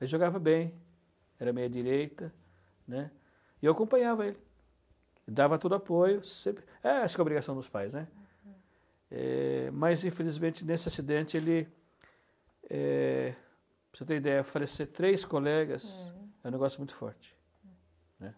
Ele jogava bem, era meia direita, né, e eu acompanhava ele, dava todo apoio, sempre, acho que é obrigação dos pais, né, uhum é mas infelizmente nesse acidente ele, é para você ter ideia, falecer três colegas, hm, é um negócio muito forte, né.